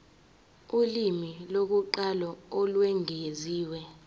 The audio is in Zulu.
ulimi lokuqala olwengeziwe